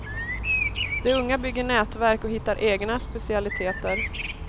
De unga bygger nätverk och hittar egna specialiteter.